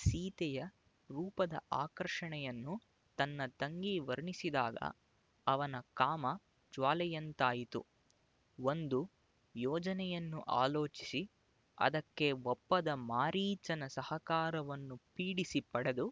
ಸೀತೆಯ ರೂಪದ ಆಕರ್ಷಣೆಯನ್ನು ತನ್ನ ತಂಗಿ ವರ್ಣಿಸಿದಾಗ ಅವನ ಕಾಮ ಜ್ವಾಲೆಯಂತಾಯಿತು ಒಂದು ಯೋಜನೆಯನ್ನು ಆಲೋಚಿಸಿ ಅದಕ್ಕೆ ಒಪ್ಪದ ಮಾರೀಚನ ಸಹಕಾರವನ್ನು ಪೀಡಿಸಿ ಪಡೆದು